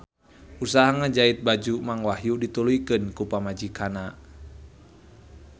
Usaha ngajait baju Mang Wahyu dituluykeun ku pamajikanna